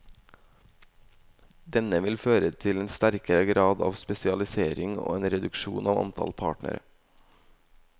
Denne vil føre til en sterkere grad av spesialisering og en reduksjon av antall partnere.